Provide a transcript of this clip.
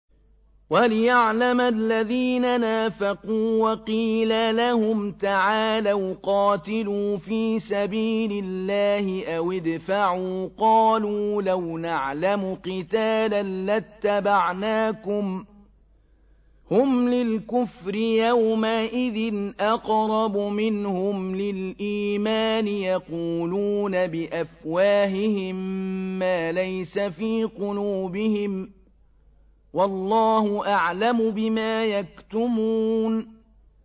وَلِيَعْلَمَ الَّذِينَ نَافَقُوا ۚ وَقِيلَ لَهُمْ تَعَالَوْا قَاتِلُوا فِي سَبِيلِ اللَّهِ أَوِ ادْفَعُوا ۖ قَالُوا لَوْ نَعْلَمُ قِتَالًا لَّاتَّبَعْنَاكُمْ ۗ هُمْ لِلْكُفْرِ يَوْمَئِذٍ أَقْرَبُ مِنْهُمْ لِلْإِيمَانِ ۚ يَقُولُونَ بِأَفْوَاهِهِم مَّا لَيْسَ فِي قُلُوبِهِمْ ۗ وَاللَّهُ أَعْلَمُ بِمَا يَكْتُمُونَ